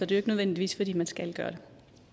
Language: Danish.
det ikke nødvendigvis fordi man skal gøre det